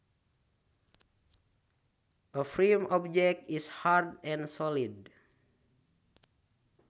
A firm object is hard and solid